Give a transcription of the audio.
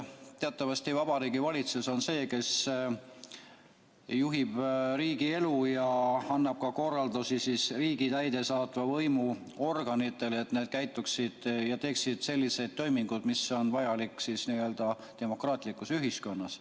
Teatavasti Vabariigi Valitsus on see, kes juhib riigi elu ja annab ka korraldusi riigi täidesaatva võimu organitele, et need käituksid nii ja teeksid selliseid toiminguid, mis on vajalikud demokraatlikus ühiskonnas.